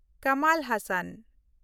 Kamal Hossain